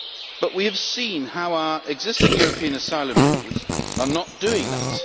But we have seen how our existing European asylum rules are not doing that.